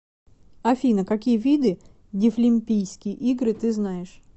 афина какие виды дефлимпийские игры ты знаешь